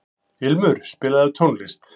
Ilmur, spilaðu tónlist.